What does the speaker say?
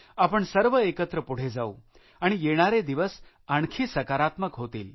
आपण सर्व एकत्र पुढे जाऊ आणि येणारे दिवस आणखी सकारात्मक होतील